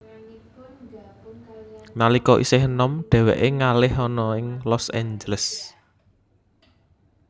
Nalika isih enom dheweke ngalih ana ing Los Angeles